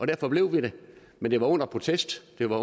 derfor blev vi der men det var under protest det var